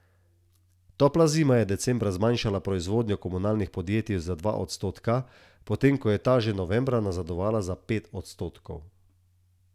Topla zima je decembra zmanjšala proizvodnjo komunalnih podjetij za dva odstotka, potem ko je ta že novembra nazadovala za pet odstotkov.